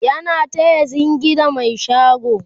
yana taya zingi da Mai shago